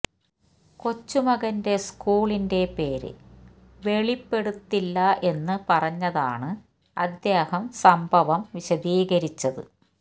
കൊച്ചുമകന്റെ സ്കൂളിന്റെ പേര് വെളിപ്പെടുത്തുന്നില്ല എന്ന് പറഞ്ഞതാണ് അദ്ദേഹം സംഭവം വിശദീകരിച്ചത്